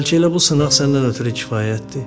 Bəlkə elə bu sınaq səndən ötrü kifayətdir?